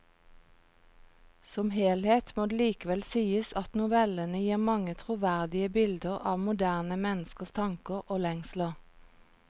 Som helhet må det likevel sies at novellene gir mange troverdige bilder av moderne menneskers tanker og lengsler.